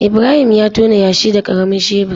Ibrahim ya tona yashi da karamin shebur.